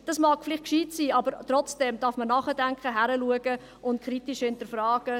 Dies mag vielleicht gescheit sein, aber trotzdem darf man nachdenken, hinschauen und kritisch hinterfragen.